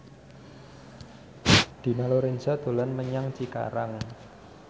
Dina Lorenza dolan menyang Cikarang